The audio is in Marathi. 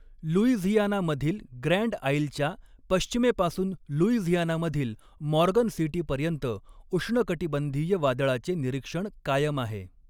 लुईझियानामधील ग्रँड आइलच्या पश्चिमेपासून लुईझियानामधील मॉर्गन सिटीपर्यंत उष्णकटिबंधीय वादळाचे निरीक्षण कायम आहे.